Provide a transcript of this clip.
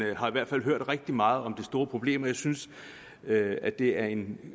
jeg har i hvert fald hørt rigtig meget om det store problem og jeg synes at det er en